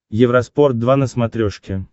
евроспорт два на смотрешке